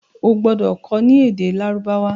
o gbódò kò ní èdè Lárúbáwá!